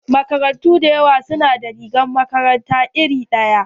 Makarantu da yawa su na da rigar makaranta iri ɗaya.